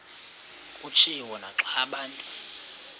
kutshiwo naxa abantu